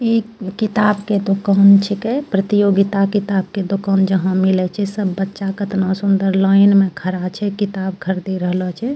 इ किताब के दोकान छींके प्रतियोगिता किताब के दोकान जहां मिले छै सब बच्चा कतना सुंदर लाइन मे खड़ा छै किताब खरीदी रहला छै।